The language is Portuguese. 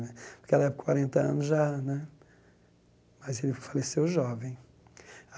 Naquela época, quarenta anos já né, mas ele faleceu jovem.